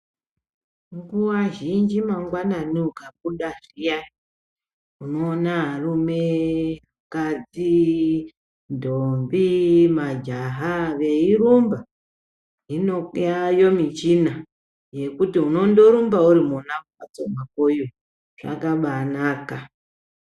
Nguwa zhinji mangwanani ukabuda zviyani, unoona varume, vakadzi, ndombi majaha veirumba. Hinopi yaayo michina yekuti unondorumba uri mona mumbatso makoyo, zvakabanaka!